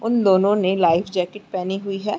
उन दोनों ने लाइफ जैकेट पहनी हुई है।